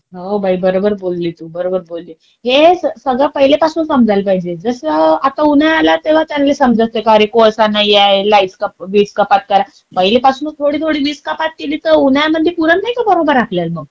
हो बाई बरोबर बोलली तू, बरोबर बोलली. हे सगळे पहिल्यापासूनच समजायला पाहिजे. जसं आता उन्हाळा आला तेव्हा त्यांनी समजायचं का रे कोळसा नाहीये, वीज कपात करा. पहिल्यापासूनच थोडी थोडी वीज कपात केली तर उन्हाळ्या मध्ये पुरत नाही का बरोबर आपल्याला मंग.